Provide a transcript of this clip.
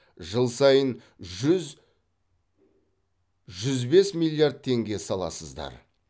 жыл сайын жүз жүз бес миллиард теңге саласыздар